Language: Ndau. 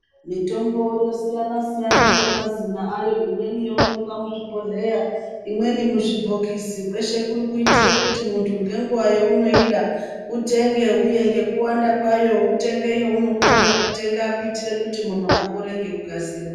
Mitombo yosiyana-siyana ngemazina ayo, imweni yoonekwa muzvibhodhleya ,imweni muzvibhokisi, kweshe kuri kuitira kuti munthu ngenguwa yeunoida, utenge uye ngekuwanda kwayo, utenge yeunokona kutenga kuti munthu apore ngekukasira.